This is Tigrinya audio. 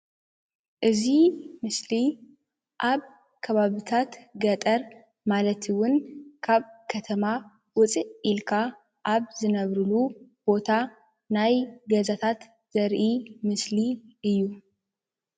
እዚ ምስሊ ኣብ ከባቢታት ገጠር ማለት እውን ካብ ከተማ ውፅእ ኢልካ ኣብ ዝነብርሉ ቦታ ናይ ገዛታት ዘርኢ ምስሊ እዩ።